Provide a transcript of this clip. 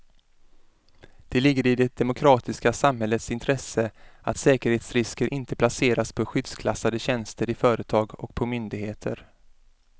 Det ligger i det demokratiska samhällets intresse att säkerhetsrisker inte placeras på skyddsklassade tjänster i företag och på myndigheter.